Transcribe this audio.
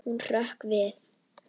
Hún hrökk við.